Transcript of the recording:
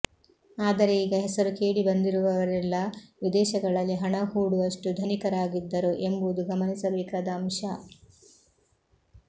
ಆದರೆ ಈಗ ಹೆಸರು ಕೇಳಿಬಂದಿರುವವರೆಲ್ಲ ವಿದೇಶಗಳಲ್ಲಿ ಹಣ ಹೂಡುವಷ್ಟು ಧನಿಕರಾಗಿದ್ದರು ಎಂಬುದು ಗಮನಿಸಬೇಕಾದ ಅಂಶ